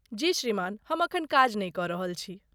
जी, श्रीमान हम एखन काज नै कऽ रहल छी।